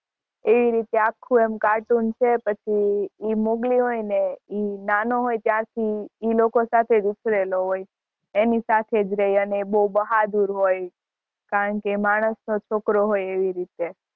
એ રીતે આખું એમ કાર્ટૂન છે પછી મોગલી હોય ને ઈ નાનો હોય ને ત્યારથી ઇ લોકો સાથે જ ઉછરેલો હોય. એની સાથે જ રહે. બહુ જ બહાદુર હોય. કારણકે માણસનો છોકરો હોય એવી રીતે